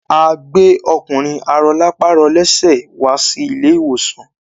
A gbẹ́ ọkùnrin arọlápàrọlẹ́sẹ̀ wá sí ilé ìwòsàn.